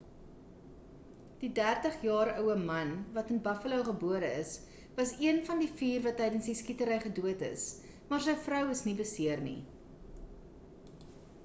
die 30-jaar oue man wat in buffalo gebore is was een van die vier wat tydens die skietery gedood is maar sy vrou is nie beseer nie